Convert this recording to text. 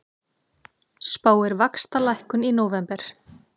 Spáir vaxtalækkun í nóvember